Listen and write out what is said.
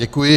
Děkuji.